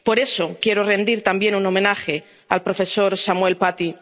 Por eso quiero rendir también un homenaje al profesor Samuel Paty.